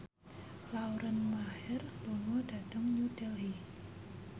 Lauren Maher lunga dhateng New Delhi